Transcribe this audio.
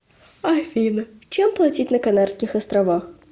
афина чем платить на канарских островах